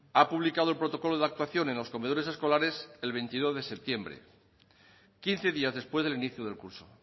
ha publicado el protocolo de actuación en los comedores escolares el veintidós de septiembre quince días después del inicio del curso